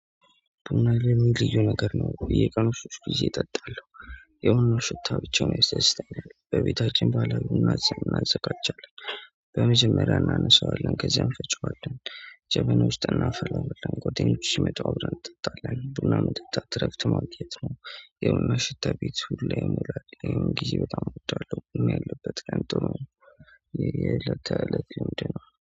በእኔ እንግሊዙ ነገር ነው ቆይ የቀኑን ስትል ጊዜ እጠጣለሁ። የሆነ ሽታ ብቻ ነው የሰሰተኝ በቤታችን ባለሙያ እናዘጋጃለን። በመጀመሪያ እናነሳዋለን ከዚያም ፈጨዋለን። ጀበኖች ጠና ፈላለልን ጎቴን ይመጣው አብረን ጠጣልን ቡና መጠጣት እረፍት ማግኘት ነው። ይኸውና ሽታ ቤት ሁሉ ይሞላል። ይሄን ጊዜ በጣም እወጣለሁ ያለበት ያንተው የለተ ለት ነው